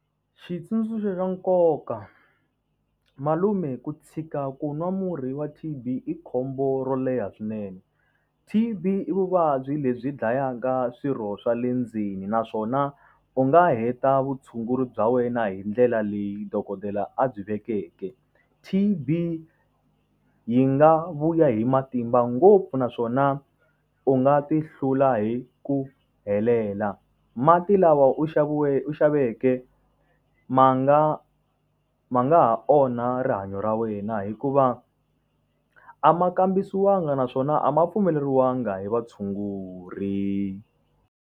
Xitsundzuxo xa nkoka, malume ku tshika ku nwa murhi wa T_B i khombo ro leha swinene T_B i vuvabyi lebyi dlayaka swirho swa le ndzeni naswona u nga heta vutshunguri bya wena hi ndlela leyi dokodela a byi vekeke T_B yi nga vuya hi matimba ngopfu naswona u nga ti hlula hi ku helela. Mati lawa u xaviweni u xaveke ma nga ma nga ha onha rihanyo ra wena hikuva a ma kambisiwangi naswona a ma pfumeleriwangi hi vatshunguri.